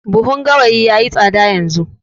Buhun gawayi yayi tsada yanzu